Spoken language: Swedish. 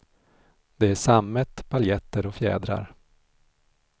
Det är sammet, paljetter och fjädrar.